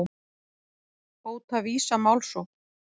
Hóta Visa málsókn